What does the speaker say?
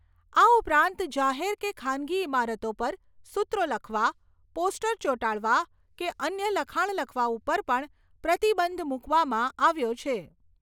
આ ઉપરાંત જાહેર કે ખાનગી ઈમારતો પર સૂત્રો લખવા, પોસ્ટર ચોંટાડવા કે અન્ય લખાણ લખવા ઉપર પણ પ્રતિબંધ મૂકવામાં આવ્યો છે.